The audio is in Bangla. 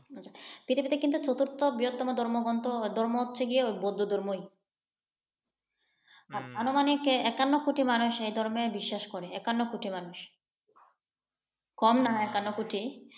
পৃথিবীতে কিন্তু চতুর্থ বৃহত্তম ধর্মগ্রন্থ ধর্ম হচ্ছে বুদ্ধ ধর্মই। আনুমানিক একান্ন কোটি মানুষ এই ধর্মে বিশ্বাস করে একান্ন কোটি মানুষ। কম নয় একান্ন কোটি।